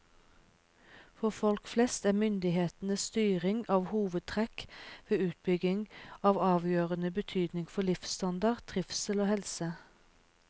For folk flest er myndighetenes styring av hovedtrekk ved utbyggingen av avgjørende betydning for livsstandard, trivsel og helse.